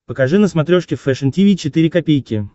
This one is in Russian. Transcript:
покажи на смотрешке фэшн ти ви четыре ка